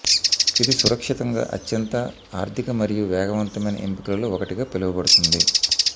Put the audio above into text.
ఇది సురక్షితంగా అత్యంత ఆర్థిక మరియు వేగవంతమైన ఎంపికలలో ఒకటిగా పిలువబడుతుంది